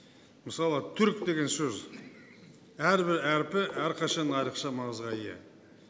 мысалы түрік деген сөз әрбір әріпі әрқашан айрықша маңызға ие